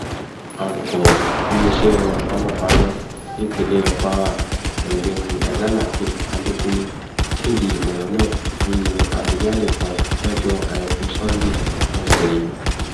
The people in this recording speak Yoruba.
alūkọrọ iléeṣẹ panpaná nípínlẹ kwara ọgbẹni hasanhakeem adekunle kéde ọrọ náà nínú àtẹjáde kan lọjọ àìkú sanńdé ọsẹ yìí